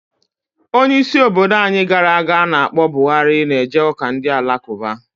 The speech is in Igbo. Onye isi obodo anyi gara aga ana akpo Buhari na eje uka Ndị Alakụba